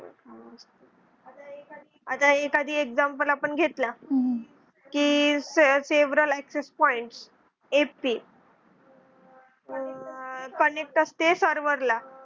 हां, आता एखादी एकदम पण आपण घेतला. की several access point ap आह connect असते server ला